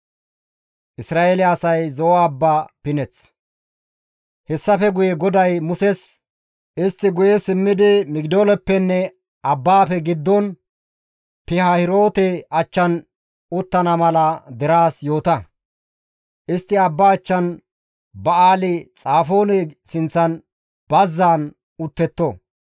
Hessafe guye GODAY Muses, «Istti guye simmidi Migidooleppenne abbaafe giddon, Pihaahiroote achchan uttana mala deraas yoota; istti abba achchan Ba7aali-Xafoone sinththan bazzaan uttetto.